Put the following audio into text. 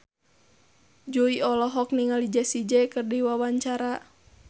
Jui olohok ningali Jessie J keur diwawancara